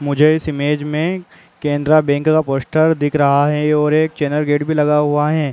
मुझे इस इमेज में केनेरा बैंक का पोस्टर दिख रहा है और एक चैनल गेट भी लगा हुआ है।